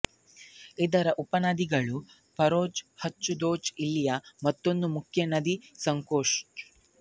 ಇದರ ಉಪನದಿಗಳು ಪಾರೊಚು ಹಚು ದೋಚು ಇಲ್ಲಿಯ ಮತ್ತೊಂದು ಮುಖ್ಯ ನದಿ ಸಂಕೋಷ್